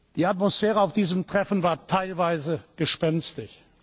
Die Atmosphäre auf diesem Treffen war teilweise gespenstisch.